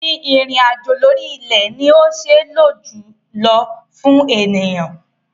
Rírin ìrìn àjò lórí ilẹ̀ ni ó ṣe lò jùlọ fún ènìyàn.